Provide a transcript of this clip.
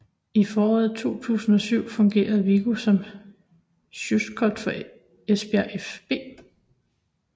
I foråret 2007 fungerede Viggo som scout for Esbjerg fB